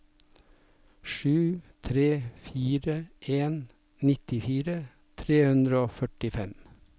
sju tre fire en nittifire tre hundre og førtifem